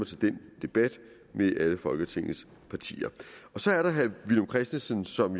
til den debat med alle folketingets partier så er der herre villum christensen som